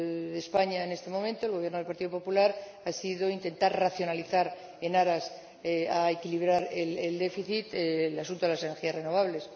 de España en este momento, el Gobierno del Partido Popular, ha sido intentar racionalizar en aras de equilibrar el déficit en el asunto de las energías renovables.